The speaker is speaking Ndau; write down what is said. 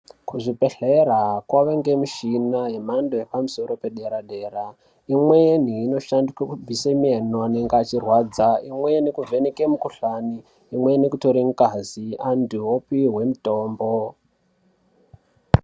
Kuzvibhedhlera kwave nemushini yemhando yepadera dera imweni inoshandiswe kubviseeno anenge ichirwadza imweni kuvheneke mukuhlani imweni kutore ngazi antu opihwe mutombo.